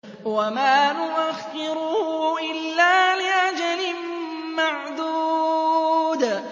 وَمَا نُؤَخِّرُهُ إِلَّا لِأَجَلٍ مَّعْدُودٍ